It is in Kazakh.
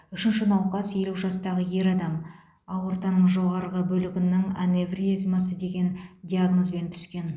үшінші науқас елу жастағы ер адам аортаның жоғарғы бөлігінің аневризмасы деген диагнозбен түскен